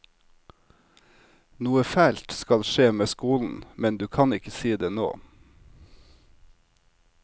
Noe fælt skal skje med skolen, men du kan ikke si det nå.